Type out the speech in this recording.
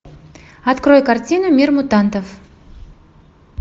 открой картину мир мутантов